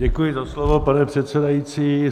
Děkuji za slovo, pane předsedající.